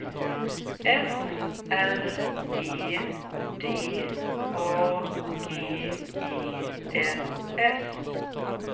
F R E D A G E N S